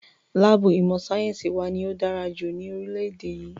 Láàbù ìmọ̀ sáyẹ́nsì wa ní o dára jùlọ ní orílẹ̀-èdè yìí.